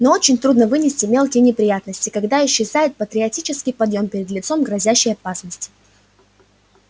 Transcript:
но очень трудно вынести мелкие неприятности когда исчезает патриотический подъем перед лицом грозящей опасности